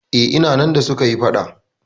Eh, ina nan da suka yi faɗa.